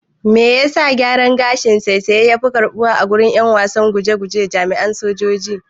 Me yasa gyaran gashin saisaye yafi karɓuwa agurin ƴan wasan guje guje da jami'an sojoji.